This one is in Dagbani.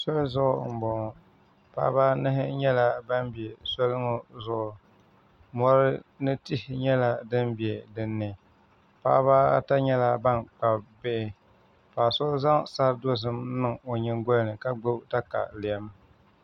Soli zuɣu n boŋo paɣaba anahi nyɛla ban bɛ soli ŋo zuɣu mori ni tihi nyɛla din bɛ dinni paɣaba ata nyɛla ban kpabi bihi paɣa so zaŋ sari dozim niŋ o nyingoli ni ka gbubi katalɛm